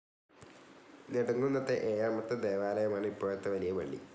നെടുംകുന്നത്തെ ഏഴാമത്തെ ദേവാലയമാണ് ഇപ്പോഴത്തെ വലിയ പളളി.